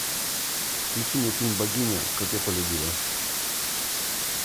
включи мне фильм богиня как я полюбила